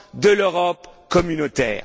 de l'Europe communautaire?